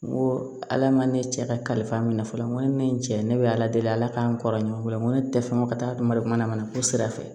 N ko ala ma ne cɛ ka kalifa minɛ fɔlɔ ne ye cɛ ye ne bɛ ala deli ala k'an kɔrɔɲuman ko n ko ne tɛ fɛ ko ka taa don marikaman na ko sira fɛ